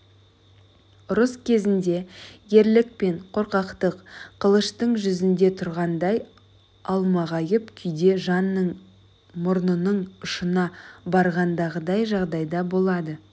ұрыс кезінде ерлік пен қорқақтық қылыштың жүзінде тұрғандай алмағайып күйде жанның мұрнының ұшына барғандағыдай жағдайда болады